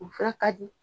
U fara ka di